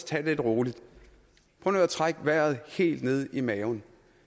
tage det lidt roligt prøv nu at trække vejret helt ned i maven